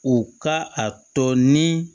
U ka a tɔ ni